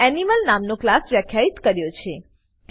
અહીં મેં એનિમલ નામનો ક્લાસ વ્યાખ્યિત કર્યો છે